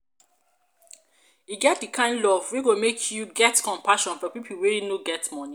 e get di kind love wey go make you get compassion for pipo wey no get moni.